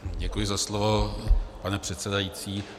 Děkuji za slovo, pane předsedající.